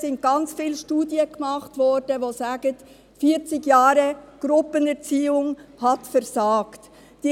Es wurden sehr viele Studien erstellt, die besagen, dass 40 Jahre Gruppenerziehung versagt haben.